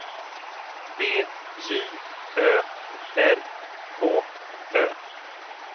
B J Ö R K Ö